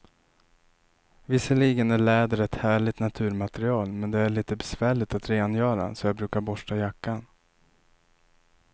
Visserligen är läder ett härligt naturmaterial, men det är lite besvärligt att rengöra, så jag brukar borsta jackan.